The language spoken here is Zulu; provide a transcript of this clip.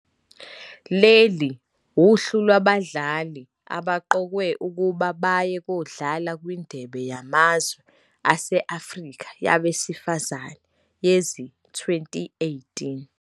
Leli uhlu lwabadlali abaqokelwe ukuba baye kodlala kwiNdebe yamazwe aseAfrika yabesifazane yezi-2018.